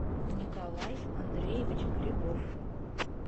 николай андреевич грибов